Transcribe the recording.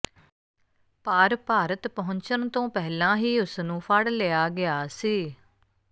ਪਰ ਭਾਰਤ ਪਹੁੰਚਣ ਤੋਂ ਪਹਿਲਾਂ ਹੀ ਉਸ ਨੂੰ ਫੜ ਲਿਆ ਗਿਆ ਸੀ